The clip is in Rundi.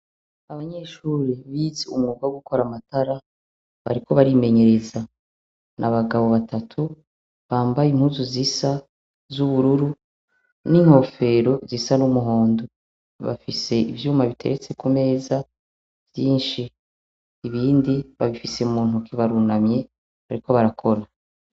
Abanyeshure bize umwuga wo gukora amatara bariko batimenyereza. Ni abagabo batatu bambaye impuzu zisa z'ubururu inkofero zisa n’umuhondo. Bafise ivyuma biteretse kumeza vyinshi ibindi babifise muntoke barunamye bariko barakora.